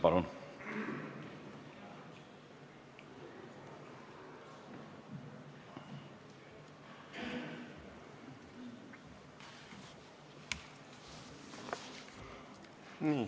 Palun!